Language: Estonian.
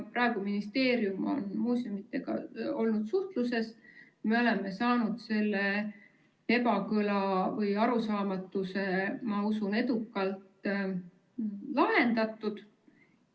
Praegu ministeerium on muuseumidega olnud suhtluses ja ma usun, et me oleme saanud selle ebakõla või arusaamatuse edukalt lahendatud.